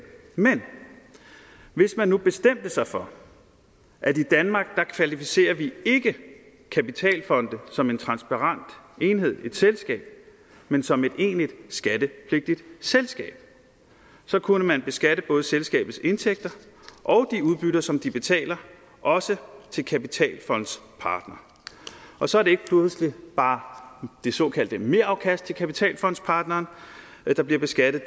men hvis man nu bestemte sig for at i danmark kvalificerer vi ikke kapitalfonde som en transparent enhed et selskab men som et egentligt skattepligtigt selskab så kunne man beskatte både selskabets indtægter og de udbytter som de betaler også til kapitalfondspartnere og så er det ikke pludselig bare det såkaldte merafkast til kapitalfondspartneren der bliver beskattet